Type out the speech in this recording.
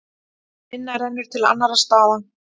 Minna rennur til annarra staða.